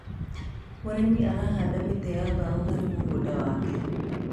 mũrĩmi arahanda mĩtĩ ya mbao harĩ mũgũnda wake